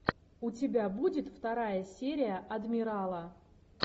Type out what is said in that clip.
у тебя будет вторая серия адмирала